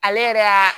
Ale yɛrɛ ka